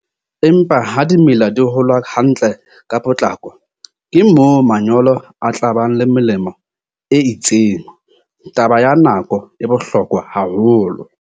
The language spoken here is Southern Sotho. Empa ha dimela di hola hantle ka potlako, ke moo manyolo a tla ba le melemo e itseng. Taba ya nako e bohlokwa haholo.